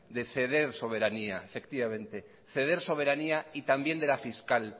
de ceder soberanía y también de la fiscal